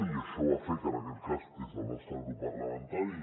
i això va fer que en aquest cas des del nostre grup parlamentari